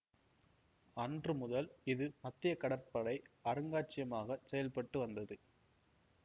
அன்று முதல் இது மத்திய கடற்படை அருங்காட்சியகமாகச் செயல்பட்டு வந்தது